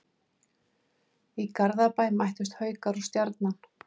Í Garðabæ mættust Haukar og Stjarnan.